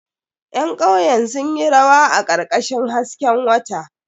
Ƴan kauyen sun yi rawa a karkashin hasken wata.